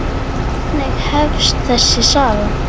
Þannig hefst þessi saga.